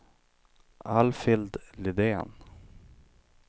Alfhild Lindén